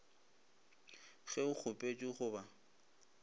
ge o kgopetše go ba